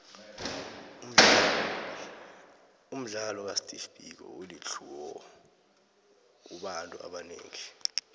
umdlalo ka steve biko ulitlhuwo kubantu abanengi